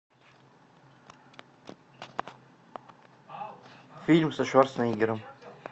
фильм со шварценеггером